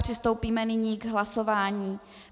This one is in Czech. Přistoupíme nyní k hlasování.